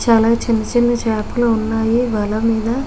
చాలా చిన్న చిన్న చేపలు వున్నాయ్ వల మీద.